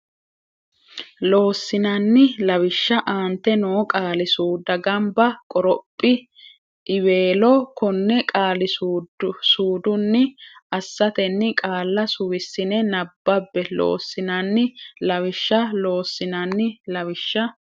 Loossinanni Lawishsha aante noo qaali suudda gamba Qoroph iweelo konne qaali suudunni assatenni qaalla suwissine nabbabbe Loossinanni Lawishsha Loossinanni Lawishsha.